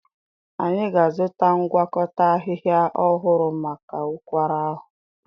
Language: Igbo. Anyị ga-azụta ngwakọta ahịhịa ọhụrụ maka ụkwara ahụ.